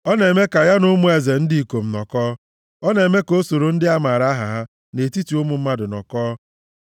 ọ na-eme ka ya na ụmụ eze ndị ikom nọkọọ, ọ na-eme ka o soro ndị a maara aha ha nʼetiti ụmụ mmadụ nọkọọ.